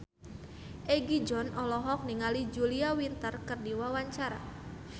Egi John olohok ningali Julia Winter keur diwawancara